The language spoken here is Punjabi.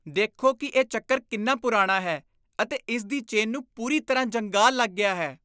ਦੇਖੋ ਕਿ ਇਹ ਚੱਕਰ ਕਿੰਨਾ ਪੁਰਾਣਾ ਹੈ ਅਤੇ ਇਸ ਦੀ ਚੇਨ ਨੂੰ ਪੂਰੀ ਤਰ੍ਹਾਂ ਜੰਗਾਲ ਲੱਗ ਗਿਆ ਹੈ।